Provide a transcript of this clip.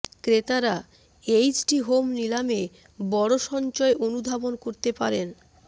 ক্রেতারা HD home নিলামে বড় সঞ্চয় অনুধাবন করতে পারেন